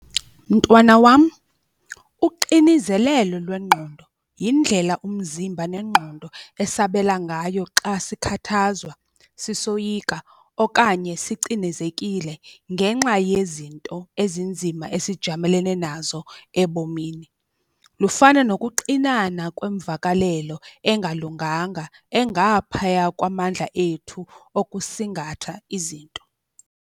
Mntwana wam uxinezelelo lwengqondo yindlela umzimba nengqondo esabela ngayo xa sikhathazwa sisoyika okanye sicinezekile ngenxa yezinto ezinzima esijamelene nazo ebomini. Lufana nokuxinana kwemvakalelo engalunganga engaphaya kwamandla ethu okusingatha izinto.